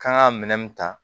Kan ka minɛn mun ta